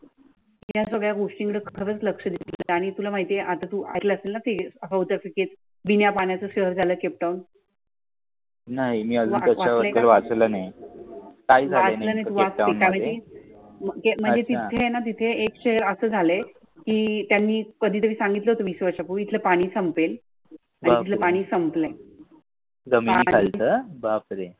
म्हणजे तिथे आहे न तिथे एकशे अस झाल आह्रे की त्यांनी कधी तरी सांगितलं वीस वर्षा पूर्वी इथले पाणी संपेल तेथले पाणी संपलय.